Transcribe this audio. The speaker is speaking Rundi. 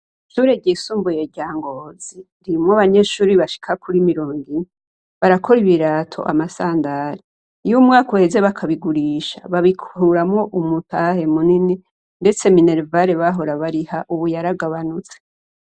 Ishure ry'isumbuye rya Ngozi, ririmwo abanyeshure bashika kur mirongine barakora ibirato amasandare. Iyumwaka uheze bakabigurisha, babikuramwo umutahe munini ndetse mineruvare bahora bariha Ubu yaragabanutse.